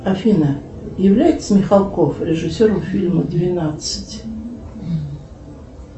афина является михалков режиссером фильма двенадцать